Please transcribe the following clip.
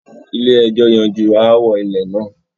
Ilé ẹjọ́ yanjú aáwò ilẹ̀ náà